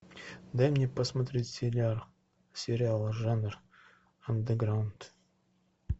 дай мне посмотреть сериал жанр андеграунд